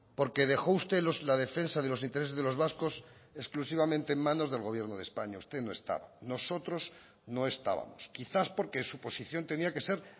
porque dejó usted la defensa de los intereses de los vascos exclusivamente en manos del gobierno de españa usted no estaba nosotros no estábamos quizás porque su posición tenía que ser